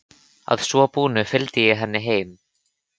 Að svo búnu fylgdi ég henni heim.